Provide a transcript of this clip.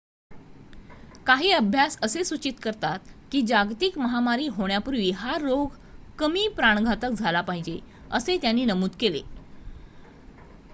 काही अभ्यास असे सूचित करतात की जागतिक महामारी होण्यापूर्वी हा रोग कमी प्राणघातक झाला पाहिजे असे त्यांनी नमूद केले